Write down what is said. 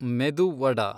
ಮೆದು ವಡಾ